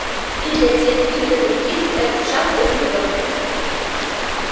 и для тех и для других этот шаг был нелёгок